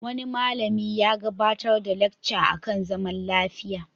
Wani malami ya gabarar da lacca a kan zaman lafiya.